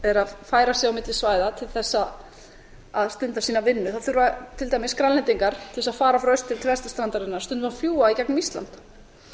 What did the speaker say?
eru að færa sig á milli svæða til þess að stunda sína vinnu þurfa til dæmis grænlendingar til þess að fara frá austur til vesturstrandarinnar stundum að fljúga í gegnum ísland